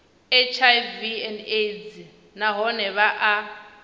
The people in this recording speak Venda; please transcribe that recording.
hiv aids nahone vha a